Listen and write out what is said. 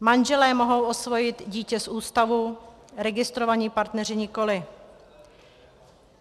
Manželé mohou osvojit dítě z ústavu, registrovaní partneři nikoli.